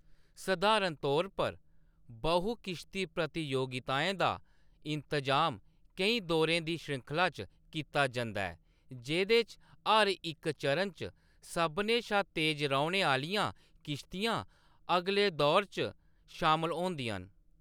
सधारण तौर पर, बहु-किश्ती प्रतियोगिताएं दा इंतजाम केईं दौरें दी श्रृंखला च कीता जंदा ऐ, जेह्‌‌‌दे च हर इक चरण च सभनें शा तेज रौह्‌‌‌ने आह्‌‌‌लियां किश्तियां अगले दौर च शामल होंदियां न।